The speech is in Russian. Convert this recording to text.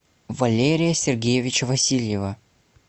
валерия сергеевича васильева